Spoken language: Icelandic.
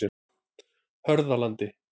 Hörðalandi